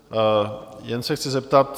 Jen se chci zeptat.